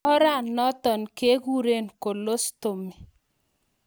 Oranatok kekuree colostomy